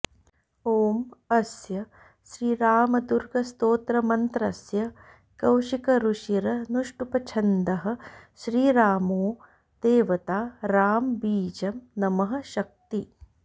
ॐ अस्य श्रीरामदुर्गस्तोत्रमन्त्रस्य कौशिकऋषिरनुष्टुप्छन्दः श्रीरामो देवता रां बीजं नमः शक्ति